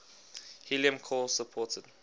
helium core supported